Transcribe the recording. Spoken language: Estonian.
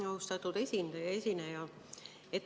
Austatud esineja!